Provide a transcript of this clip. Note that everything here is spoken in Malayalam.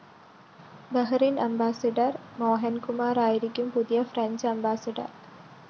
ബഹ്‌റിന്‍ അംബാസഡോർ മോഹന്‍കുമാറായിരിക്കും പുതിയ ഫ്രഞ്ച്‌ അംബാസഡോർ